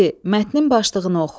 Mətnin başlığını oxu.